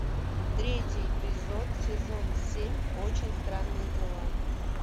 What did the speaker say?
третий эпизод сезон семь очень странные дела